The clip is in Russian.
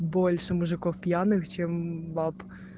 больше мужиков пьяных чем баб